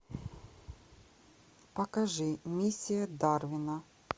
покажи миссия дарвина